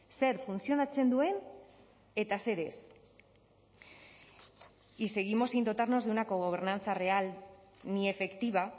zer funtzionatzen duen eta zer ez y seguimos sin dotarnos de una cogobernanza real ni efectiva